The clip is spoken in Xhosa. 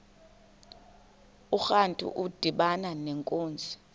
urantu udibana nenkunzi